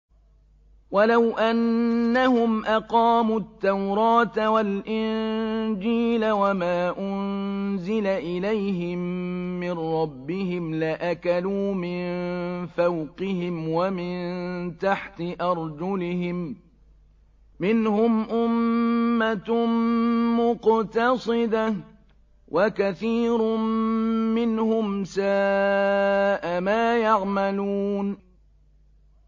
وَلَوْ أَنَّهُمْ أَقَامُوا التَّوْرَاةَ وَالْإِنجِيلَ وَمَا أُنزِلَ إِلَيْهِم مِّن رَّبِّهِمْ لَأَكَلُوا مِن فَوْقِهِمْ وَمِن تَحْتِ أَرْجُلِهِم ۚ مِّنْهُمْ أُمَّةٌ مُّقْتَصِدَةٌ ۖ وَكَثِيرٌ مِّنْهُمْ سَاءَ مَا يَعْمَلُونَ